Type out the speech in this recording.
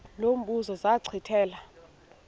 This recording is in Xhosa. lo mbuzo zachithela